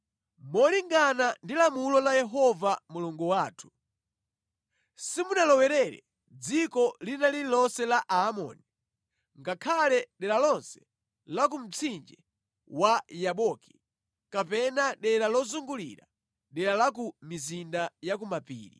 Molingana ndi lamulo la Yehova Mulungu wathu, simunalowerere dziko lililonse la Aamoni, ngakhale dera lonse la ku mtsinje wa Yaboki kapena dera lozungulira dera la ku mizinda ya ku mapiri.